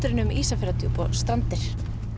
en um Ísafjarðardjúp og Strandir